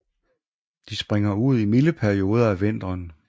De springer ud i milde perioder af vinteren